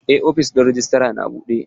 Eh ofishin rejistra na buɗe.